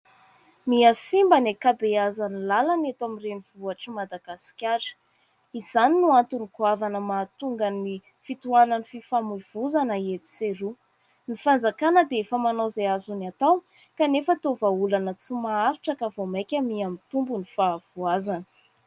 Mihasimba ny ankabeazan'ny làlany eto amin'ny renivohitr'i Madagasikara. Izany no antony goavana mahatonga ny fitohanan'ny fifamoivozana eto sy eroa. Ny fanjakana dia efa manao izay azony atao kanefa toa vahaolana tsy maharitra ka vao maika mihamitombo ny fahavoazana.